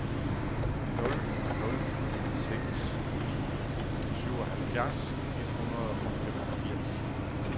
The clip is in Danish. nul nul seks ni syvoghalvfjerds et hundrede og femogfirs